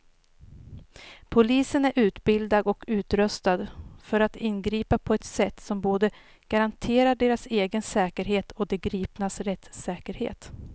Polisen är utbildad och utrustad för att ingripa på ett sätt som både garanterar deras egen säkerhet och de gripnas rättssäkerhet.